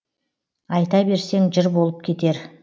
айта берсең жыр болып кетер